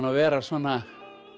að vera svona